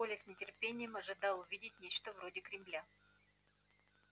коля с нетерпением ожидал увидеть нечто вроде кремля